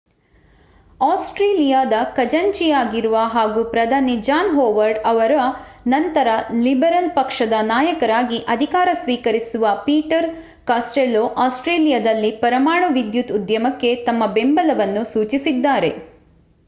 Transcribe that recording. ಆಸ್ಟ್ರೇಲಿಯಾದ ಖಜಾಂಚಿಯಾಗಿರುವ ಹಾಗೂ ಪ್ರಧಾನಿ ಜಾನ್ ಹೊವಾರ್ಡ್ ಅವರ ನಂತರ ಲಿಬರಲ್ ಪಕ್ಷದ ನಾಯಕರಾಗಿ ಅಧಿಕಾರ ಸ್ವೀಕರಿಸುವ ಪೀಟರ್ ಕಾಸ್ಟೆಲ್ಲೊ ಆಸ್ಟ್ರೇಲಿಯಾದಲ್ಲಿ ಪರಮಾಣು ವಿದ್ಯುತ್ ಉದ್ಯಮಕ್ಕೆ ತಮ್ಮ ಬೆಂಬಲವನ್ನು ಸೂಚಿಸಿದ್ದಾರೆ